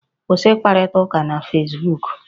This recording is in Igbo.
Kwụsị ịkparịta ụka na fesbuku!